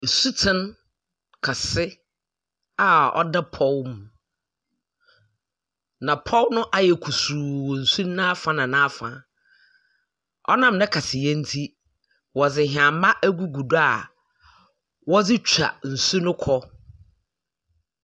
Nsatsen kɛse a ɔda pɔw mu, na pɔw no ayɛ kusuu wɔ nsu n'aafa na n'afa. Ɔnam ne kɛseyɛ nti, wɔde nnyama agugu do a wɔredze nsu no kɔɔ.